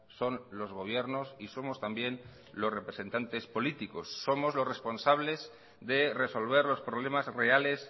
son los gobiernos y somos también los representantes políticos somos los responsables de resolver los problemas reales